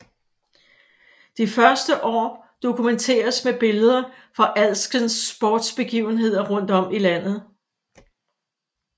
De første år dokumenteres med billeder fra alskens sportsbegivenheder rundt om i landet